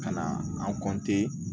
Ka na an